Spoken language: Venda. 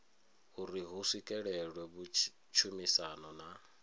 uri hu swikelelwe tshumisano na